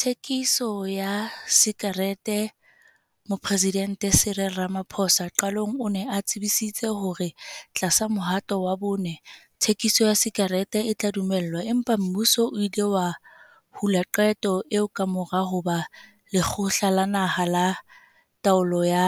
Thekiso ya sakereteMoporesidente Cyril Ramaphosa qalong o ne a tsebisitse hore tlasa Mohato wa Bone, thekiso ya sakerete e tla dumellwa empa mmuso o ile wa hula qeto eo kamora hoba Lekgotla la Naha la Taolo ya